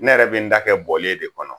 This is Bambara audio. Ne yɛrɛ bɛ n ta kɛ bɔlen de kɔnɔ